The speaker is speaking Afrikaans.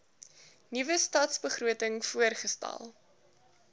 nuwe stadsbegroting voorgestel